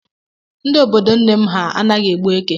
Ndi obodo nne m ha anaghị egbu éké.